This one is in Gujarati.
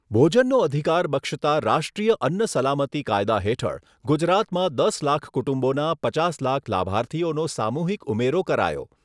ભોજનનો અધિકાર બક્ષતા રાષ્ટ્રીય અન્ન સલામતી કાયદા હેઠળ ગુજરાતમાં દસ લાખ કુટુંબોના પચાસ લાખ લાભાર્થીઓનો સામૂહિક ઉમેરો કરાયો